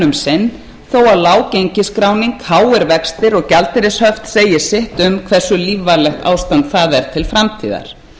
sinn þó að lág gengisskráning háir vextir og gjaldeyrishöft segi sitt um hversu lífvænlegt ástand það er til framtíðar